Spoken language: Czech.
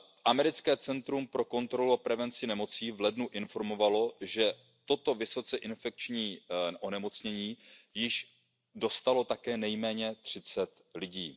Americké centrum pro kontrolu a prevenci nemocí v lednu informovalo, že toto vysoce infekční onemocnění již dostalo také nejméně 30